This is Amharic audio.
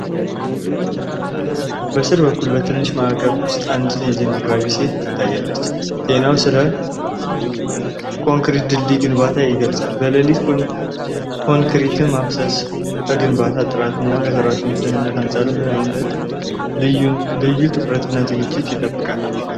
ከሥር በኩል በትንሽ ማዕቀፍ ውስጥ አንዲት የዜና አቅራቢ ሴት ስትታይ፣ ዜናው ስለ ኮንክሪት ድልድይ ግንባታ ይገልጻል። በሌሊት ኮንክሪት ማፍሰስ ከግንባታው ጥራት እና ከሠራተኞች ደህንነት አንጻር ምን ዓይነት ልዩ ትኩረትና ዝግጅት ይጠይቃል?